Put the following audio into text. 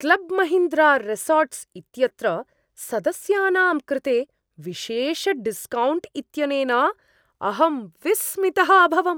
Club Mahindra resorts इत्यत्र सदस्यानां कृते विशेषडिस्कौण्ट्स् इत्यनेन अहम् विस्मितः अभवम्।